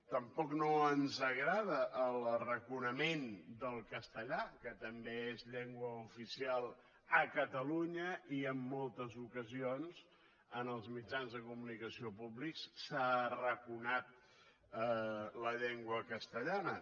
tampoc no ens agrada l’arraconament del castellà que també és llengua oficial a catalunya i en moltes ocasions en els mitjans de comunicació públics s’ha arraconat la llengua castellana